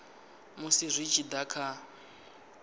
musi zwi tshi da kha